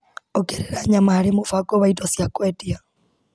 Ongerera nyama harĩ mũbango wa indo cia kwendia.